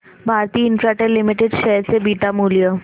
Bharti Infratel limited share चे beta मूल्य